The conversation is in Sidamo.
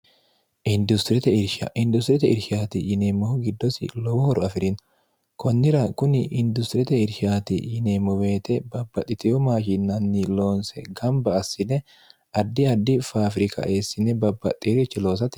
industiriyete irshaati yineemmohu giddosi lowohoro afi'rinna kunnira kuni industiriyete irshaati yineemmobeete babbaxxiteyo maashinnanni loonse gamba assine addi addi faafirika eessine babbaxxee'richi loosate